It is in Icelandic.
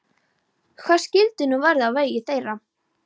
Hvað skyldi nú verða á vegi þeirra?